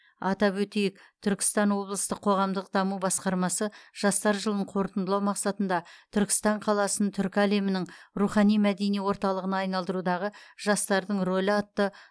атап өтейік түркістан облыстық қоғамдық даму басқармасы жастар жылын қорытындылау мақсатында түркістан қаласын түркі әлемінің рухани мәдени орталығына айналдырудағы жастардың рөлі атты